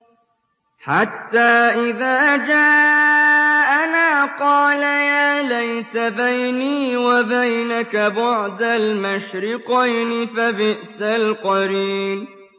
حَتَّىٰ إِذَا جَاءَنَا قَالَ يَا لَيْتَ بَيْنِي وَبَيْنَكَ بُعْدَ الْمَشْرِقَيْنِ فَبِئْسَ الْقَرِينُ